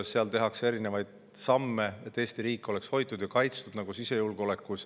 Seal tehakse erinevaid samme, et Eesti riik oleks hoitud ja kaitstud, nagu sisejulgeolekus.